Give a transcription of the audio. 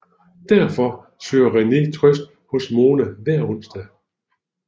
Derfor søger René trøst hos Mona hver onsdag